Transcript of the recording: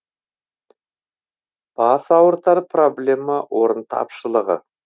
бас ауыртар проблема орын тапшылығы